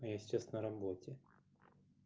я сейчас на работе